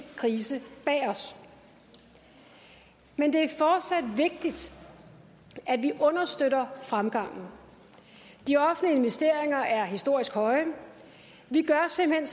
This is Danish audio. krise bag os men det er fortsat vigtigt at vi understøtter fremgangen de offentlige investeringer er historisk høje vi gør simpelt